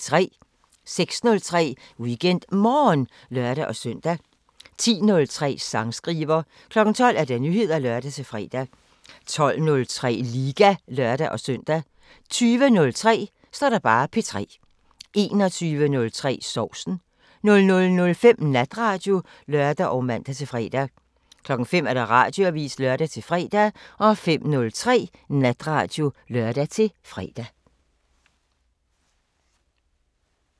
06:03: WeekendMorgen (lør-søn) 10:03: Sangskriver 12:00: Nyheder (lør-fre) 12:03: Liga (lør-søn) 20:03: P3 21:03: Sovsen 00:05: Natradio (lør og man-fre) 05:00: Radioavisen (lør-fre) 05:03: Natradio (lør-fre)